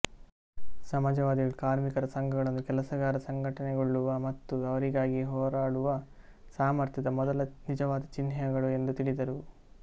ಸಮಾಜವಾದಿಗಳು ಕಾರ್ಮಿಕರ ಸಂಘಗಳನ್ನು ಕೆಲಸಗಾರ ಸಂಘಟನೆಗೊಳ್ಳುವ ಮತ್ತು ಅವರಿಗಾಗಿ ಹೋರಾಡುವ ಸಾಮರ್ಥ್ಯದ ಮೊದಲ ನಿಜವಾದ ಚಿಹ್ನೆಗಳು ಎಂದು ತಿಳಿದರು